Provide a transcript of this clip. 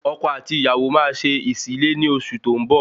Ọkọ àti ìyàwó máa ṣe ìsílé ni oṣù tó ń bọ̀